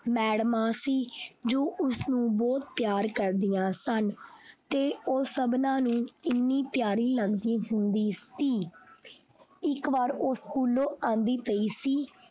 ਮੈਡਮਾਂ ਸੀ ਜੋ ਉਸਨੂੰ ਬਹੁਤ ਪਿਆਰ ਕਰਦੀਆਂ ਸਨ ਤੇ ਉਹ ਸਬਨਾਂ ਨੂੰ ਇੰਨੀ ਪਿਆਰੀ ਲਗਦੀ ਹੁੰਦੀ ਸੀ ਇੱਕ ਵਾਰ ਉਹ ਸਕੂਲੋਂ ਆਉਂਦੀ ਪਈ ਸੀ।